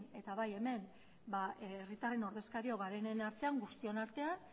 eta bai hemen herritarren ordezkariok garenen artean guztion artean